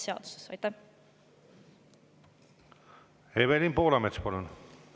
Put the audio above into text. Evelin Poolamets, palun!